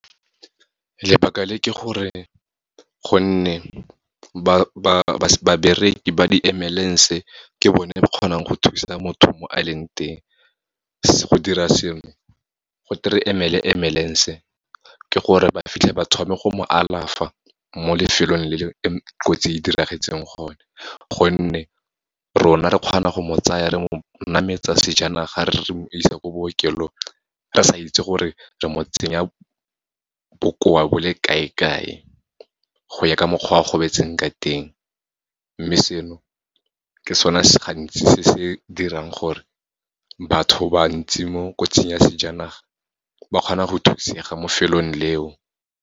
Lebaka le ke gore, gonne babereki ba di-ambulance-e, ke bone ba kgonang go thusa motho mo a leng teng. Go dira seno, go te re emele ambulance-e ke gore ba fitlhe ba thome go mo alafa mo lefelong le kotsi e diragetseng gone, gonne rona re kgona go mo tsaya re mo nametsa sejanaga, re mo isa ko bookelong, re sa itse gore re mo tsenya bokoa bo le kae-kae, go ya ka mokgwa a gobetseng ka teng. Mme seno, ke sone se gantsi se se dirang gore batho bantsi mo kotsing ya sejanaga, ba kgona go thusega mo lefelong leo.